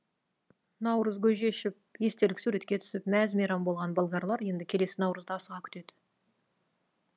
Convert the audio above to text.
наурыз көже ішіп естелік суретке түсіп мәз мейрам болған болгарлар енді келесі наурызды асыға күтеді